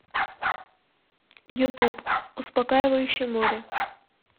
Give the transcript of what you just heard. ютуб успокаивающее море